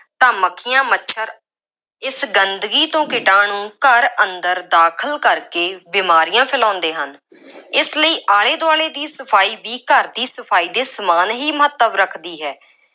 ਤਾਂ ਮੱਖੀਆਂ, ਮੱਛਰ, ਇਸ ਗੰਦਗੀ ਤੋਂ ਕੀਟਾਣੂੰ ਘਰ ਅੰਦਰ ਦਾਖਲ ਕਰਕੇ ਬੀਮਾਰੀਆਂ ਫੈਲਾਉਂਦੇ ਹਨ। ਇਸ ਲਈ ਆਲੇ ਦੁਆਲੇ ਦੀ ਸਫਾਈ ਵੀ ਘਰ ਦੀ ਸਫਾਈ ਦੇ ਸਮਾਨ ਹੀ ਮਹੱਤਵ ਰੱਖਦੀ ਹੈ।